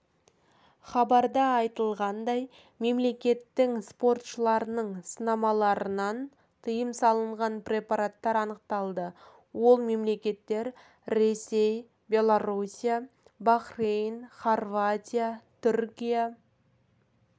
хабарда айтылғандай мемлекеттің спортшыларының сынамаларынан тыйым салынған препараттар анықталды ол мемлекеттер ресей беларуся бахрейн хорватия түркия